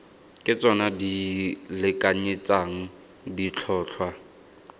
ke tsona di lekanyetsang ditlhotlhwa